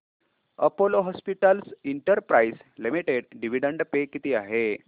Apollo hospitals enterprise limited dividend pay किती आहे